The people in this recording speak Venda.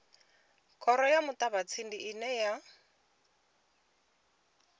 khoro ya muṱavhatsindi ine ya